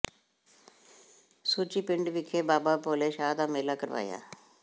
ਸੁੱਚੀ ਪਿੰਡ ਵਿਖੇ ਬਾਬਾ ਬੋਲੇ ਸ਼ਾਹ ਦਾ ਮੇਲਾ ਕਰਵਾਇਆ